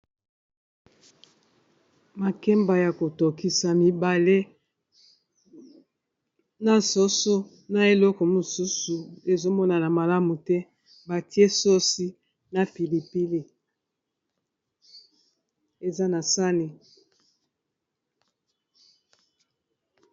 Makemba ya kotokisa mibale na soso na eleko mosusu ezomonana malamu te batie sosi na pilipili eza na sani.